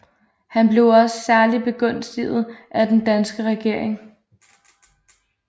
Han blev også særlig begunstiget af den danske regering